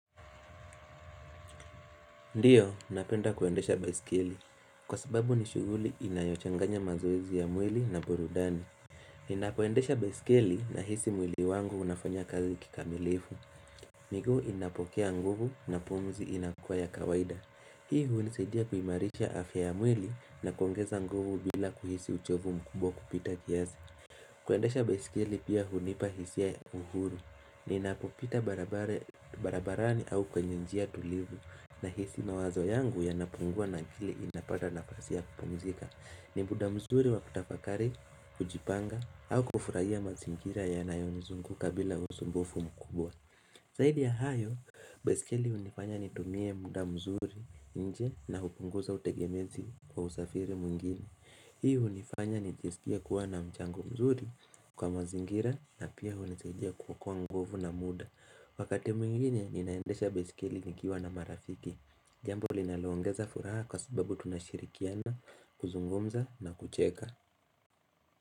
Ndiyo, napenda kuendesha baiskeli. Kwa sababu ni shughuli inayochanganya mazoezi ya mwili na burudani. Ninapoendesha baiskeli nahisi mwili wangu unafanya kazi kikamilifu. Miguu inapokea nguvu na pumzi inakuwa ya kawaida. Hii hunisaidia kuimarisha afya ya mwili na kuongeza nguvu bila kuhisi uchovu mkubwa kupita kiazi. Kuendesha baiskeli pia hunipa hisia ya uhuru. Ninapopita barabara barabarani au kwenye njia tulivu. Nahisi mawazo yangu yanapungua na akili inapata nafasi ya kupumzika ni muda mzuri wa kutafakari, kujipanga, au kufurahia mazingira yanayonizunguka bila usumbufu mkubwa zaidi ya hayo, baiskeli hunifanya nitumie muda mzuri nje na hupunguza utegemezi kwa usafiri mwingine Hii hunifanya nijiskie kuwa na mchango mzuri kwa mazingira na pia hunisaidia kuokoa nguvu na muda Wakati mwingine ninaendesha baiskeli nikiwa na marafiki Jambo linaloongeza furaha kwa sababu tunashirikiana, kuzungumza na kucheka.